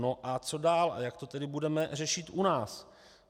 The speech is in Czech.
No a co dál a jak to tedy budeme řešit u nás?